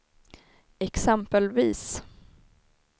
exempelvis